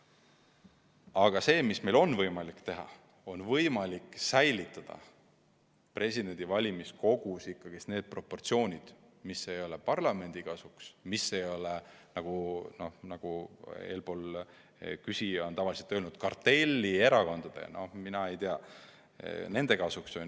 Aga see, mida meil on võimalik teha, on säilitada valimiskogus senised proportsioonid, mis ei ole parlamendi kasuks, mis ei ole, nagu küsija on tavaliselt öelnud, kartellierakondade kasuks.